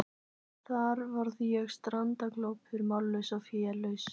Þar varð ég strandaglópur, mállaus og félaus.